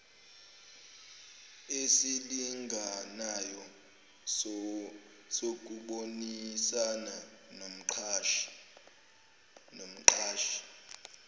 esilinganayo sokubonisana nomqashi